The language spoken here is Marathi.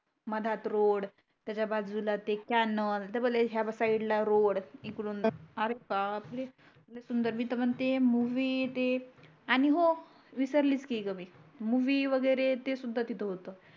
मधात रोड त्याच्या बाजूला ते कॅनल डबल ह्या साईड ला रोड मी त म्हणते मूवी आणि हो विसरलीच की मी मूवी वगरे ते सुद्धा तिथ होत